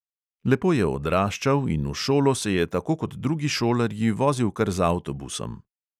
Lepo je odraščal in v šolo se je tako kot drugi šolarji vozil kar z avtobusom.